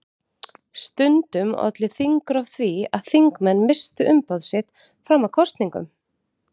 Stundum olli þingrof því að þingmenn misstu umboð sitt fram að kosningum.